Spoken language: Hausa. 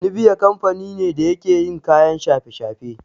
Nibiya kamfani ne da yake yin kayan shafe-shafe.